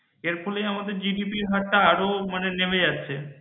এর ফলে আমাদের GDP আরও নেমে যাচ্ছে